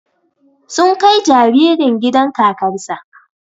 Sun kai jaririn gidan kakar sa